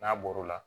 N'a bɔr'o la